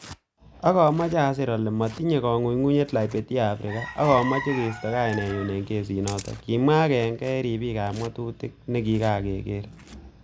'Ak amoche asir ole motinyen koing'unyng'unyet Liberty Afrika ak amoche keisto kainenyun en kesinoton,"Kimwa agenge en ribikab ng'atutik nekike keer.